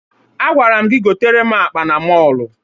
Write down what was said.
Agwara m gị gotere m akpa na mọọlụ!